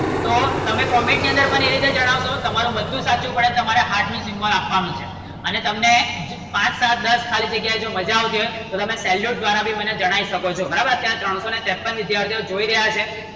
તો તમે Comment ની અંદર મને આ રીતે જણાવશો તમારું બધું સાચું પડે તમારે Heart નું Symbol આપવાનું છે અને તમને પાંચ સાત દસ ખાલી જગ્યાએ જો મજા આવશે તો તમે સેલ્યુટ દ્વારા ભી મને જણાઈ શકો છો બરાબર અત્યારે ત્રણસો ને ત્રેપન્ન વિદ્યાર્થીઓ જોઈ રહયા છે